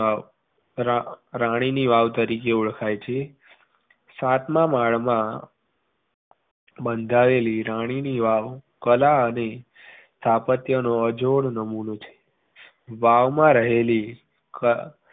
આ વાવ રાણીની વાવ તરીકે ઓળખાઈ છે. સાતમાં માળમાં બંધાયેલી રાણીની વાવ કળા અને સ્થાપત્યનો અજોડ નમૂનો છે વાવ માં રહેલી